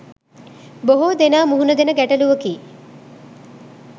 බොහෝ දෙනා මුහුණදෙන ගැටලුවකි.